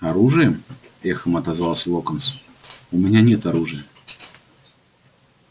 оружием эхом отозвался локонс у меня нет оружия